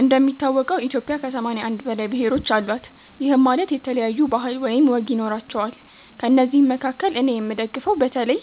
እንደሚታወቀው ኢትዮጵያ ከ81 በላይ ብሔሮች አሏት፤ ይህም ማለት የተለያዩ ባህል ወይም ወግ ይኖራቸዋል። ከእነዚህ መካከል እኔ የምደግፈው በተለይ